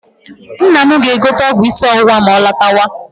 Nna m ga-egote ọgwụ isi ọwụwa ma ọ lọtawa.